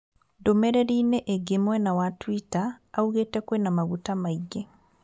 Ndũmĩrĩri inĩ ĩngĩ mwena wa twita augĩte kwĩna maguta maingĩ